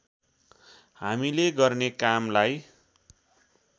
हामीले गर्ने कामलाई